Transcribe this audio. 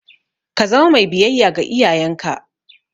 Ka zama mai biyayya ga iyayenka!